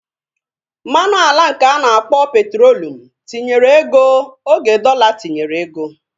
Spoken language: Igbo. Mmanụ ala nke ana akpọ petrolium tinyere ego oge dọla tinyere ego